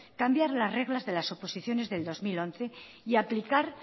cambiar las reglas de las oposiciones de dos mil once y aplicar